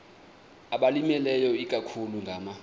abalimileyo ikakhulu ngama